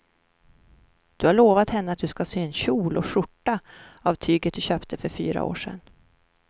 Du har lovat henne att du ska sy en kjol och skjorta av tyget du köpte för fyra år sedan.